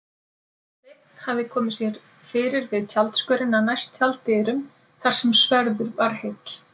Sveinn hafði komið sér fyrir við tjaldskörina næst tjalddyrum þar sem svörður var heill.